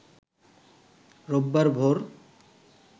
রোববার ভোর